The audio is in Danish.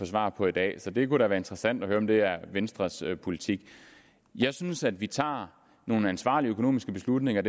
svar på i dag så det kunne da være interessant at høre om det er venstres politik jeg synes at vi tager nogle ansvarlige økonomiske beslutninger